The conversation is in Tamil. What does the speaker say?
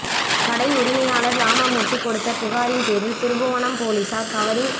கடை உரிமையாளர் ராமமூர்த்தி கொடுத்த புகாரின் பேரில் திருப்புவனம் போலீசார் கவரிங்